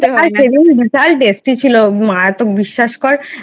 তাই tasty ছিলো মারাত্বক বিশ্বাস কর।